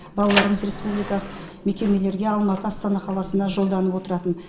балаларымыз республикалық мекемелерге алматы астана қаласына жолданып отыратын